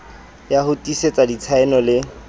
ya ho tiisetsa ditshaeno le